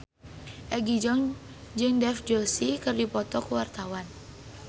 Egi John jeung Dev Joshi keur dipoto ku wartawan